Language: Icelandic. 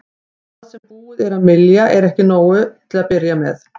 Það sem búið er að mylja er ekki nóg til að byrja með.